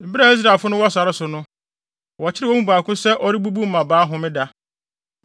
Bere a Israelfo no wɔ sare so no, wɔkyeree wɔn mu baako sɛ ɔrebubu mmabaa homeda.